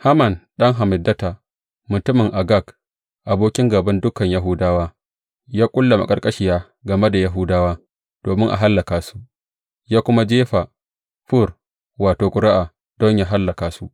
Haman ɗan Hammedata, mutumin Agag, abokin gāban dukan Yahudawa, ya ƙulla maƙarƙashiya game da Yahudawa, domin a hallaka su, ya kuma jefa fur wato, ƙuri’a don yă hallaka su.